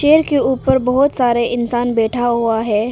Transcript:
के ऊपर बहुत सारे इंसान बैठा हुआ है।